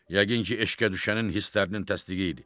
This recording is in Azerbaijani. Yəqin ki, eşqə düşənin hisslərinin təsbiği idi.